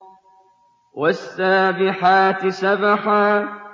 وَالسَّابِحَاتِ سَبْحًا